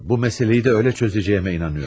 Bu məsələyi də elə çözəcəyimə inanıyorum.